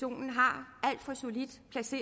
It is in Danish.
at for solidt